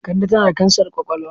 Kande tana da kansar kwakwalwa.